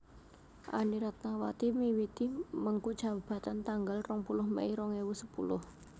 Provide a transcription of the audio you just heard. Anny Ratnawati miwiti mengku jabatan tanggal rong puluh Mei rong ewu sepuluh